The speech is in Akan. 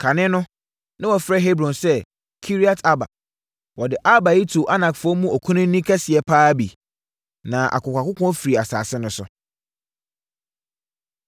(Kane no na wɔfrɛ Hebron sɛ Kiriat-Arba. Wɔde Arba yi too Anakfoɔ mu okunini kɛseɛ pa ara bi.) Na akokoakoko firii asase no so.